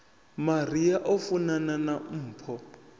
maria o funana na mpho